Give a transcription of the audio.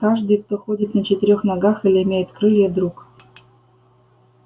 каждый кто ходит на четырёх ногах или имеет крылья друг